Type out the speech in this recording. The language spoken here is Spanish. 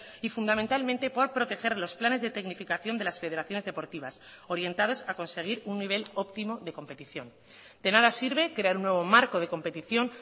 y fundamentalmente por proteger los planes de tecnificación de las federaciones deportivas orientados a conseguir un nivel óptimo de competición de nada sirve crear un nuevo marco de competición